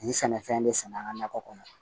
Nin sɛnɛfɛn de sɛnɛ an ga nakɔ kɔnɔ